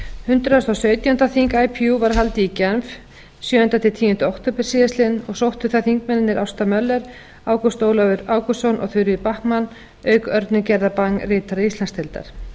hundrað og sautjándu þing ipu var haldið í genf sjöunda til tíunda október síðastliðinn og sóttu það þingmennirnir ásta möller ágúst ólafur ágústsson og þuríður backman auk örnu gerðar bang ritara íslandsdeildar